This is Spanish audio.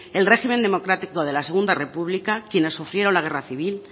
el régimen democrático de la segundo república quienes sufrieron la guerra civil